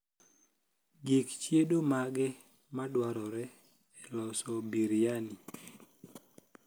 gik chiedo mage madwarore e loso biriyani